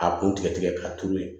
A kun tigɛ tigɛ k'a turu yen